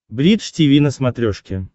бридж тиви на смотрешке